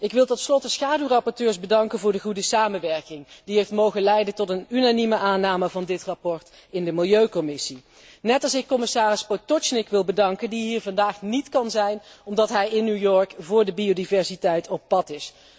Ik wil tot slot de schaduwrapporteurs bedanken voor de goede samenwerking die heeft mogen leiden tot een unanieme goedkeuring van dit verslag in de Milieucommissie, net zoals ik commissaris Potočnik wil bedanken, die hier vandaag niet kan zijn omdat hij in New York voor de biodiversiteit op pad is.